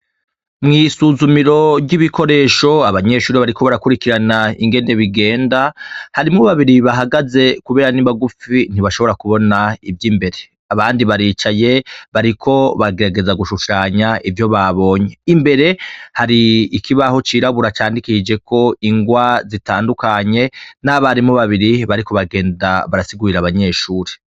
Mwisuzumiro ryibikoresho abanyeshure bariko barakwirikirana ingene bigenda harimwo babiri bahagaze kubera nibagufi ntibashobora kubona ivyimbere abandi baricaye bariko bagerageza gushushanya ivyo babonye imbere hari ikibaho cirabura candikishijeko ingwa zitandukanye nabarimu babiri bariko bagenda barasigurira abanyeshuri.